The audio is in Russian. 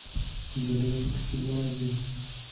блеск сезон один